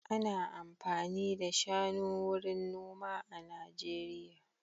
Ana amfani da shanu wurin noma a Najeriya.